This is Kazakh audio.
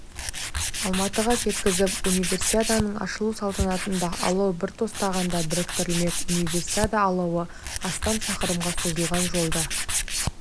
алматыға жеткізіп универсиаданың ашылу салтанатында алау бір тостағанда біріктірілмек универсиада алауы астам шақырымға созылған жолды